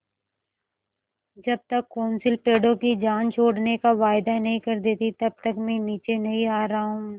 जब तक कौंसिल पेड़ों की जान छोड़ने का वायदा नहीं कर देती तब तक मैं नीचे नहीं आ रहा हूँ